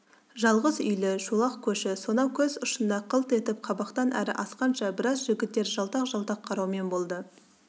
жалғыз үйлі шолақ көші сонау көз ұшында қылт етіп қабақтан әрі асқанша біраз жігіттер жалтақ-жалтақ қараумен болды